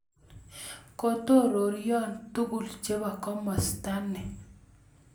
Kokororoyo tugul chebo kamastani